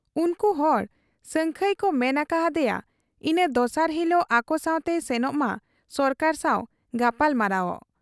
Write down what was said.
ᱩᱱᱠᱩ ᱦᱚᱲ ᱥᱟᱹᱝᱠᱷᱟᱹᱭ ᱠᱚ ᱢᱮᱱ ᱟᱠᱟ ᱦᱟᱫᱮᱭᱟ ᱤᱱᱟᱹ ᱫᱚᱥᱟᱨ ᱦᱤᱞᱚᱜ ᱟᱠᱚᱥᱟᱶᱛᱮᱭ ᱥᱮᱱᱚᱜ ᱢᱟ ᱥᱚᱨᱠᱟᱨ ᱥᱟᱶ ᱜᱟᱯᱟᱞᱢᱟᱨᱟᱣᱜ ᱾